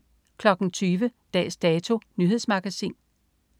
20.00 Dags Dato. Nyhedsmagasin